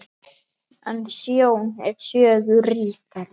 En sjón er sögu ríkari.